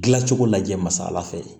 Gilan cogo lajɛ masala fɛ